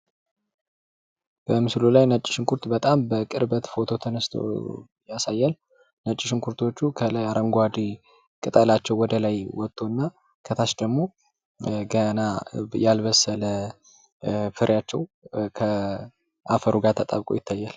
በምሥሉ ላይ ነጭ ሽንኩርት በጣም በቅርበት ፎቶ ተነስቶ ያሳያል። ነጭ ሽንኩርቶቹ ከላይ አረንጓዴ ቅጠላቸው ወደ ላይ ወጦ እና ከታች ደግሞ ገና ያልበሰለ ፍሬያቸው ከአፈሩ ተጣብቆ ይታያል።